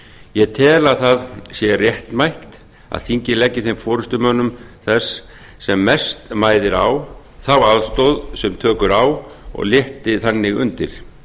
ég tel að það sé réttmætt að þingið leggi þeim forustumönnum þess sem mest mæðir á þá aðstoð sem tök eru á og létti þannig undir